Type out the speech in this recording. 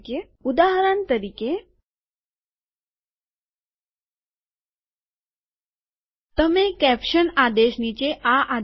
ઉદાહરણ તરીકે તમે કેપ્સન આદેશ નીચે આ આદેશ આપો